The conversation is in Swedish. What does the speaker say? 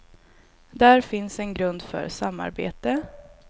Där finns en grund för samarbete.